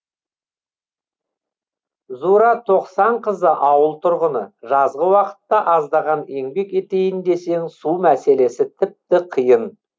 зура тоқсанқызы ауыл тұрғыны жазғы уақытта аздаған еңбек етейін десең су мәселесі тіпті қиын